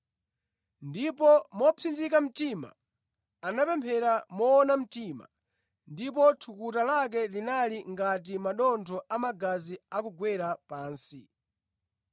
Ndipo mopsinjika mtima, anapemphera moona mtima, ndipo thukuta lake linali ngati madontho a magazi akugwera pansi.